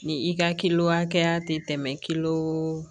Ni i ka kili hakɛya tɛ tɛmɛ kilo